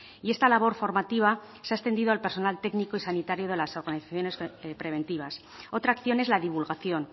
y esta labor formativa se ha extendido al personal técnico y sanitario de las organizaciones preventivas otra acción es la divulgación